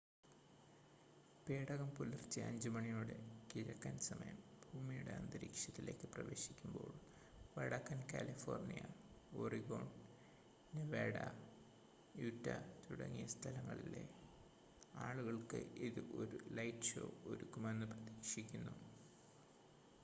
പേടകം പുലർച്ചെ 5 മണിയോടെ കിഴക്കൻ സമയം ഭൂമിയുടെ അന്തരീക്ഷത്തിലേക്ക് പ്രവേശിക്കുമ്പോൾ വടക്കൻ കാലിഫോർണിയ ഒറിഗോൺ നെവാഡ യൂറ്റ തുടങ്ങിയ സ്ഥലങ്ങളിലെ ആളുകൾക്ക് ഇത് ഒരു ലൈറ്റ് ഷോ ഒരുക്കുമെന്ന് പ്രതീക്ഷിക്കുന്നു